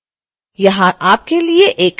यहां आपके लिए एक असाइनमेंट है